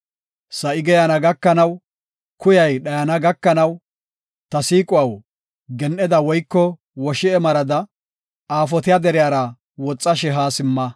Sa7i geeyana gakanaw, kuyay dhayana gakanaw, ta siiquwaw, gen7eda woyko woshi7e marada, aafotiya deriyara woxashe haa simma.